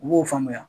U b'o faamuya